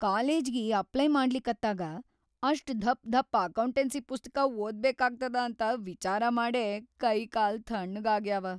ಕಾಲೇಜಿಗಿ apply ಮಾಡ್ಲಿಕತ್ತಾಗ ಅಷ್ಟ್‌ ಧಪ್‌ಧಪ್ಪ ಅಕೌಂಟನ್ಸಿ ಪುಸ್ತಕಾ ಓದ್ಬೇಕಾಗ್ತದ ಅಂತ ವಿಚಾರ ಮಾಡೇ ಕೈಕಾಲ್‌ ಥಣ್ಣಗಾಗ್ಯಾವ.